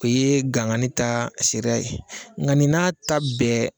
O ye gaŋali taa seriya ye ŋa nin n'a ta bɛɛ